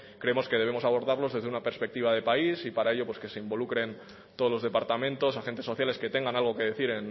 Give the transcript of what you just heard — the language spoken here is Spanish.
creemos que debemos abordarlos desde una perspectiva de país y para ello que se involucren todos los departamentos agente sociales que tengan algo que decir